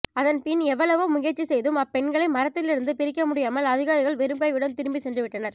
அதன்பின் எவ்வளவோ முயற்சி செய்தும் அப்பெண்களை மரத்திலிருந்து பிரிக்க முடியாமல் அதிகாரிகள் வெறும் கையுடன் திரும்பி சென்று விட்டனர்